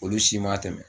Olu si ma tɛmɛ